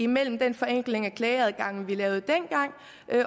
mellem den forenkling af klageadgangen vi lavede dengang